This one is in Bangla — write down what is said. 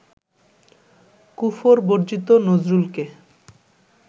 কুফর-বর্জিত নজরুলকে